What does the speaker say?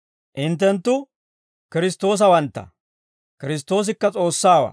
Hinttenttu Kiristtoosawantta; Kiristtoosikka S'oossawaa.